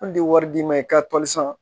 An de ye wari d'i ma i ka